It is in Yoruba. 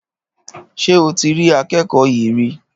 Ṣé o ti ri akẹ́kọ̀ọ́ yí rí